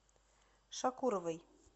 шакуровой